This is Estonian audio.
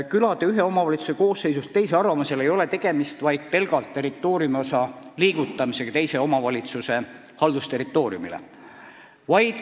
Külade ühe omavalitsuse koosseisust teise arvamisel ei ole tegemist pelgalt mingi territooriumiosa arvamisega teise omavalitsuse haldusterritooriumi hulka.